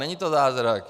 Není to zázrak.